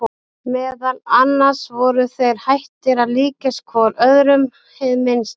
Meðal annars voru þeir hættir að líkjast hvor öðrum hið minnsta.